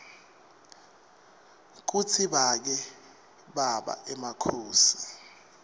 kutsi bake baba emakhosi